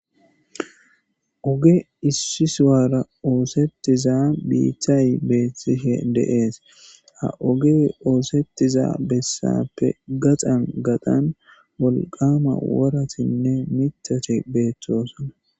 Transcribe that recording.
Oge issi suwaara oosettiza biiththay beethtihe deees ha oge oosettiza bessappe gaxan gaxan wolqama woratinne mitate beeththoosana